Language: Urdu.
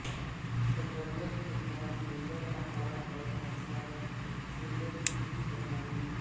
سٹروک کے بعد موٹر افعال اور حساسیت کی بحالی